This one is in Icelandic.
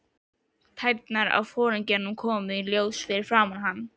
Tærnar á foringjanum koma í ljós fyrir framan hann.